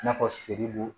I n'a fɔ selibugu